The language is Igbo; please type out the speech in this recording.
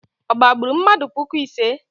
Ọ gbagburu mmadụ puku ise?